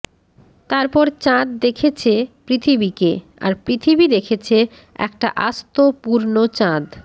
তারপর চাঁদ দেখেছে পৃথিবীকে আর পৃথিবী দেখেছে একটা আস্ত পূর্ণ চাঁদ